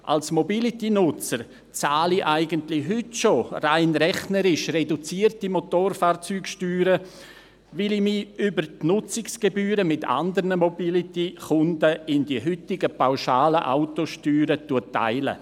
Als Mobility-Nutzer bezahle ich eigentlich heute schon – rein rechnerisch – reduzierte Motorfahrzeugsteuern, weil ich mir über die Nutzungsgebühren mit andern Mobility-Kunden die heutigen, pauschalen Autosteuern teile.